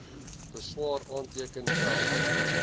beswaar aanteken tel